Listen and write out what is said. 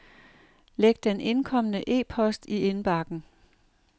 Læg den indkomne e-post i indbakken.